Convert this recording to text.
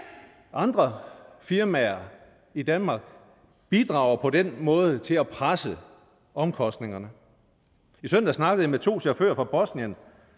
andre firmaer i danmark bidrager på den måde til at presse omkostningerne i søndags snakkede jeg med to chauffører fra bosnien